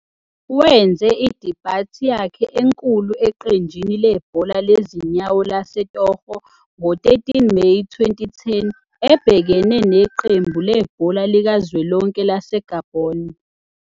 Wenze i-debut yakhe enkulu eqenjini lebhola lezinyawo laseTogo ngo-13 Meyi 2010 ebhekene neqembu lebhola likazwelonke laseGabon.